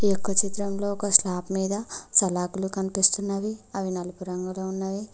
ఈ యొక్క చిత్రంలో ఒక స్లాబ్ మీద సలాకులు కన్పిస్తున్నవి అవి నలుపు రంగులో ఉన్నవి.